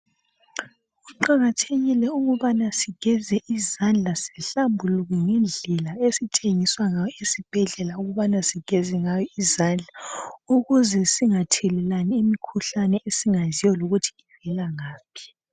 Kuqakathekile ukubana sigeze izandla zihlambuluke ngendlela esitshengiswa ngayo esibhedlela ukubana sigeze ngayo izandla ukuze singathelelani imikhuhlane esingayaziyo lokuthi ivelangaphi